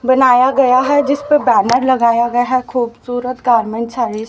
बनाया गया है जिस पे बैनर लगाया गया है खूबसूरत गारमेंट्स